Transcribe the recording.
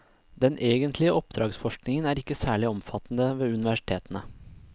Den egentlige oppdragsforskningen er ikke særlig omfattende ved universitetene.